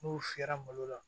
N'u fiyɛra malo la